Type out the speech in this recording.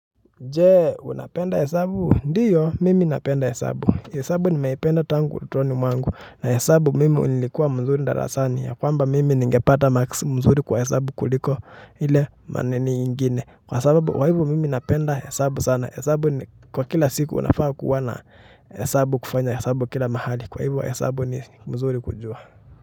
Jee unapenda hesabu ndiyo mimi napenda hesabu hesabu nimeipenda tangu utotoni mwangu na hesabu mimi unilikuwa mzuri ndarasani ya kwamba mimi ningepata marks mzuri kwa hesabu kuliko ile maneno ingine kwa sababu kwa ivo mimi napenda hesabu sana hesabu ni kwa kila siku unafaa kuwa na hesabu kufanya hesabu kila mahali kwa ivo hesabu ni mzuri kujua.